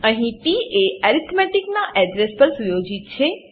અહીં પ એ અરિથ નાં એડ્રેસ એડ્રેસ પર સુયોજિત છે